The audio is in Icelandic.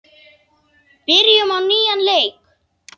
Byrjum á nýjan leik.